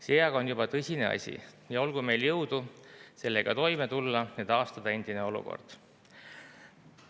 See aga on juba tõsine asi ja olgu meil jõudu sellega toime tulla ja taastada endine olukord.